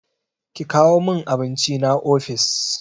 Ki kawo min abincina ofis!